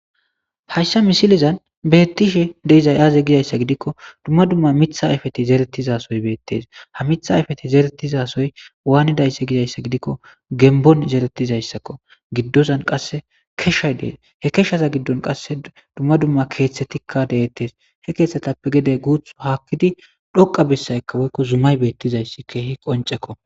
hayssa misilizan beettishe deizay aaze gizayssa gidikko dumma dumma mitha ayfeti zeretizasoy beettes ha mitha ayfeti zeretizasoy waanidaysse gizayssa gidikko gembon zeretizayssakko giddozan qasse keshshay dees he keshshaza giddon qasse dumma dumma keeththetikka deettes he keeththatappe gede guuth haakkidi dhoqa bessaykka boykko zumay beettizayssi keehi qoncekko